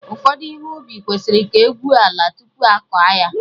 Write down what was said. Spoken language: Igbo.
Ụfọdụ ihe ubi kwesịrị ka egwuo ala tupu akọ ya